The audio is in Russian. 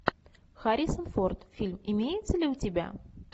харрисон форд фильм имеется ли у тебя